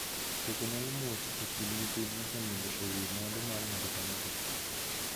Koko nyalo much e kind nyithind mosenindo e wiii mwandu mar ng'ato ka ng'ato.